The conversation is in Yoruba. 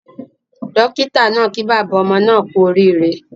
Dókítà naa kí bàbá ọmọ naa kú orí ire